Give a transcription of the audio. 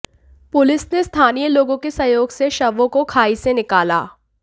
police ने स्थानीय लोगों के सहयोग से शवों को खाई से निकाला